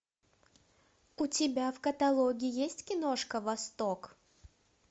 у тебя в каталоге есть киношка восток